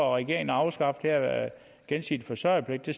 at regeringen har afskaffet gensidig forsørgerpligt det